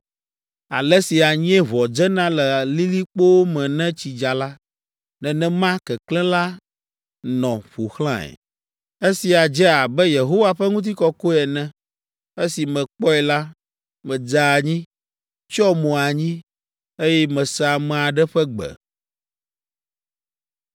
Ale si anyieʋɔ dzena le lilikpowo me ne tsi dza la, nenema keklẽ la nɔ ƒo xlãe. Esia dze abe Yehowa ƒe ŋutikɔkɔe ene. Esi mekpɔe la, medze anyi, tsyɔ mo anyi, eye mese ame aɖe ƒe gbe.